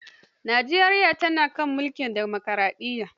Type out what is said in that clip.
Nijeriya tana kan mulkin dimokaraɗiyya.